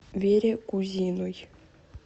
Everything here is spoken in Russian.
вере кузиной